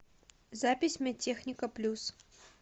запись медтехника плюс